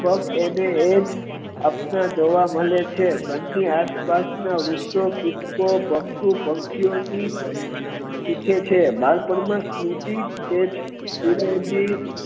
અને એજ આપના જોવા મળે છે ઘર ની આસપાસ ના વૃક્ષો પશુ પંખી થી જ સીખે છે બાળ પણ મા તેજ